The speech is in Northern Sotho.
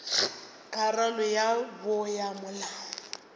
karolo ya bo ya molao